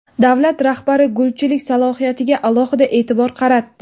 Davlat rahbari gulchilik salohiyatiga alohida e’tibor qaratdi.